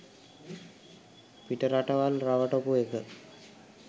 පිටරටවල් රවටපු ඒක